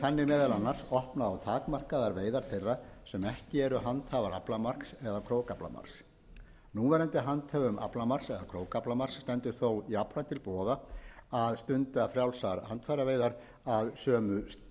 þannig meðal annars opnað á takmarkaðar veiðar þeirra sem ekki eru handhafar aflamarks eða krókaflamarks núverandi handhöfum aflamarks eða krókaaflamarks stendur þó jafnframt til boða að stunda frjálsar handfæraveiðar að sömu